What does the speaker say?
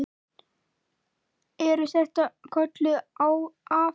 Eru þetta kölluð afföll.